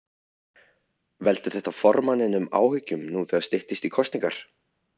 Veldur þetta formanninum áhyggjum nú þegar styttist í kosningar?